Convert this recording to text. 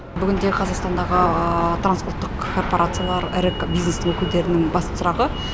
бүгінде қазақстандағы транспорттық корпорациялар ірі бизнес өкілдерінің басты сұрағы